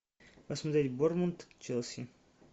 посмотреть борнмут челси